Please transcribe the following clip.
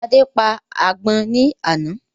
Adé pa àgbọ̀n ni àná